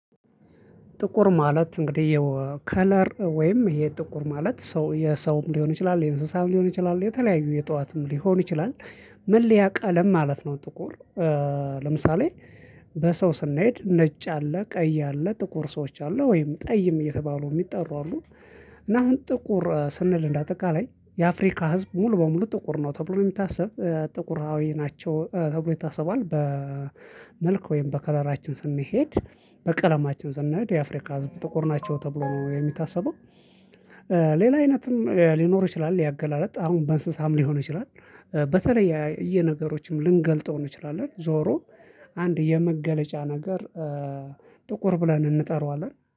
ጥቁር ማለት እንግዲህ የው ከለር ወይም ይሄ ጥቁር ማለት ሰው የሰውም ሊሆን ይችላል የእንስሳም ሊሆን ይችላል የተለያዩ የእጠዋትም ሊሆን ይችላል መለያ ቀለም ማለት ነው ጥቁር። ለምሳሌ በሰው ስንሄድ ነጭ አለ ቀይ አለ ጥቁር ሰዎች አሉ ወይም ጠይም እየተባሉ የሚጠሩ አሉ። እና አሁን ጥቁር ስንል እንዳጠቃላይ የአፍሪካ ህዝብ ሙሉ በሙሉ ጥቁር ነው ተብሎ ነው የምታስብ ጥቁራዊ ናቸው ተብሎ ይታሰባል በመልክ ወይም በከለራችን ስንሄድ በቀለማችን ስንሄድ የአፍሪካ ህዝብ ጥቁር ናቸው ተብሎ ነው የሚታሰበው። ሌላ አይነትም ሊኖር ይችላል ያገላልጥ አሁን በእንስሳም ሊሆን ይችላል። በተለየ እየ ነገሮችም ልንገልጠው እንችላለን ዞሮ አንድ የመገለጫ ነገር ጥቁር ብለን እንጠራዋለን